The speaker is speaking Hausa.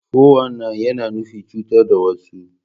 Fo wan nain, yana nufin cutar da wasu.